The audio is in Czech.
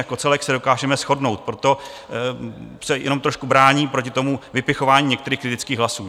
Jako celek se dokážeme shodnout, proto se jenom trošku bráním proti tomu vypichování některých kritických hlasů.